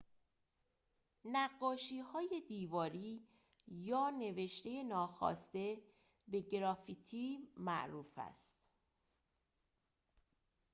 نقاشی‌های دیواری یا نوشته ناخواسته به گرافیتی معروف است